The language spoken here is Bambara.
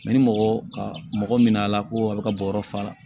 ni mɔgɔ ka mɔgɔ min nana ko a bɛ ka bɔ yɔrɔ fa la